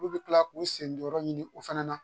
Olu bɛ kila k'u sendon yɔrɔ ɲini o fana na